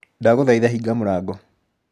Ndagũthaitha hinga mũrango.